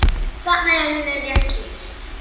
Þarna er henni rétt lýst.